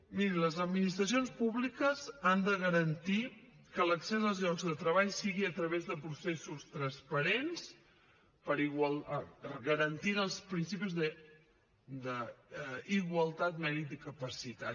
mirin les administracions públiques han de garantir que l’accés als llocs de treball sigui a través de processos transparents garantint els principis d’igualtat mèrit i capacitat